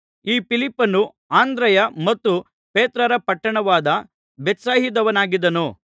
ಈ ಫಿಲಿಪ್ಪನು ಅಂದ್ರೆಯ ಮತ್ತು ಪೇತ್ರರ ಪಟ್ಟಣವಾದ ಬೆತ್ಸಾಯಿದದವನಾಗಿದ್ದನು